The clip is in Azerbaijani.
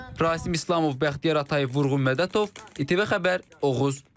Rasim İslamov, Bəxtiyar Atayev, Vurğun Mədətov, İTV Xəbər, Oğuz.